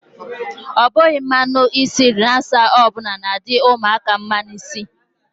Ọ bughi mmanụ isi relasa ọbụla na-adi ụmụaka mma n'isi.